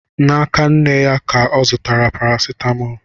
N'aka nne ya ka m zụtara parasetamọlụ